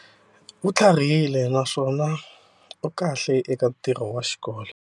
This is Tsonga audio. U tlharihile naswona u kahle eka ntirho wa xikolo.